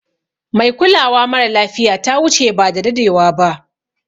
Mai kulawa mara lafiya ta wuche ba da dadewa ba.